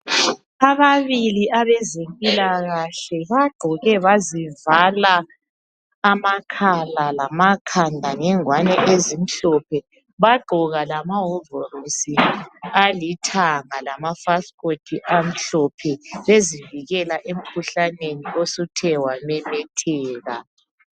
Ababili abezempilakahle bagqoke bazivala amakhala lamakhanda ngengwane ezimhlophe bagqoka lamawovorosi alithanga lamafasikoti amhlophe bezivikela emkhuhlaneni osuthe wamemetheka